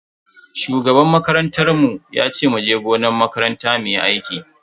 Shugaban makarantar mu yace muje gonan makaranta muyi aiki.